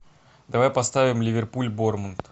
давай поставим ливерпуль борнмут